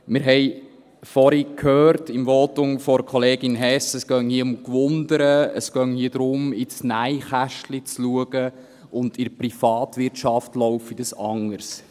Wir haben vorhin im Votum von Kollegin Hess gehört, es gehe hier um Neugier, es gehe hier darum, ins Nähkästchen zu schauen, und in der Privatwirtschaft laufe dies anders.